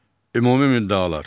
Ümumi müddəalar.